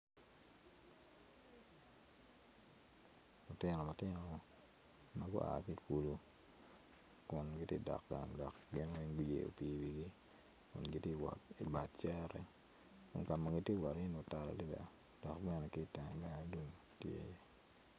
Lutino matino ma gua ki i kulu kun giti dok gang dok gin weng guyeyo pii iwigi gin giti wot ibad cere kun ka ma giti wot iyeni otal adada dok bene ki iteng bene lum tye.